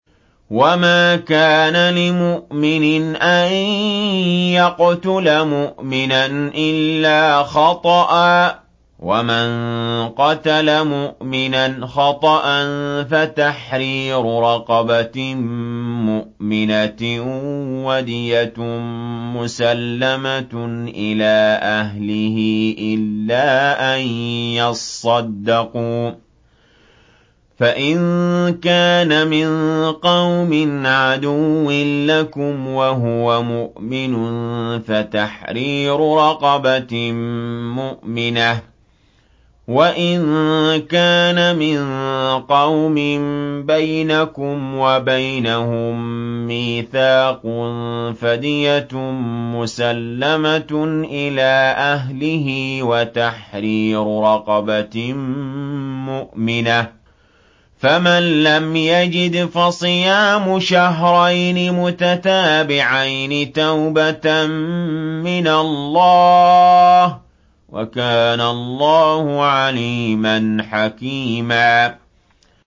وَمَا كَانَ لِمُؤْمِنٍ أَن يَقْتُلَ مُؤْمِنًا إِلَّا خَطَأً ۚ وَمَن قَتَلَ مُؤْمِنًا خَطَأً فَتَحْرِيرُ رَقَبَةٍ مُّؤْمِنَةٍ وَدِيَةٌ مُّسَلَّمَةٌ إِلَىٰ أَهْلِهِ إِلَّا أَن يَصَّدَّقُوا ۚ فَإِن كَانَ مِن قَوْمٍ عَدُوٍّ لَّكُمْ وَهُوَ مُؤْمِنٌ فَتَحْرِيرُ رَقَبَةٍ مُّؤْمِنَةٍ ۖ وَإِن كَانَ مِن قَوْمٍ بَيْنَكُمْ وَبَيْنَهُم مِّيثَاقٌ فَدِيَةٌ مُّسَلَّمَةٌ إِلَىٰ أَهْلِهِ وَتَحْرِيرُ رَقَبَةٍ مُّؤْمِنَةٍ ۖ فَمَن لَّمْ يَجِدْ فَصِيَامُ شَهْرَيْنِ مُتَتَابِعَيْنِ تَوْبَةً مِّنَ اللَّهِ ۗ وَكَانَ اللَّهُ عَلِيمًا حَكِيمًا